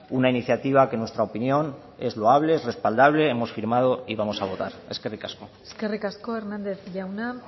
una iniciativa que en nuestra opinión es loable es respaldable hemos firmado y vamos a votar eskerrik asko eskerrik asko hernández jauna